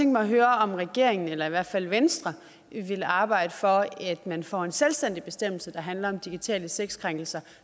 mig at høre om regeringen eller i hvert fald venstre vil arbejde for at man får en selvstændig bestemmelse der handler om digitale sexkrænkelser